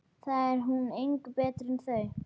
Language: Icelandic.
Þá er hún engu betri en þau.